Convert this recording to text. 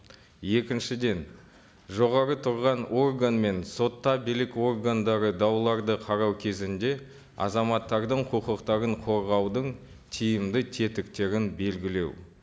екіншіден жоғары тұрған орган мен сотта билік органдары дауларды қарау кезінде азаматтардың құқықтарын қорғаудың тиімді тетіктерін белгілеу